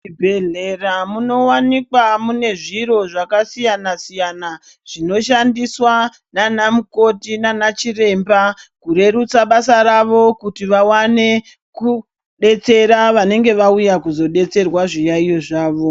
Muzvibhedhlera munowanikwa mune zviro zvakasiyana-siyana, zvinoshandiswa ,naanamukoti naanachiremba kurerutsa basa ravo, kuti vawane kudetsera vanenge vauya kuzodetserwa zviyaiyo zvavo.